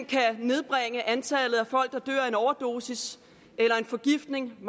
kan nedbringe antallet af folk der dør af en overdosis eller af forgiftning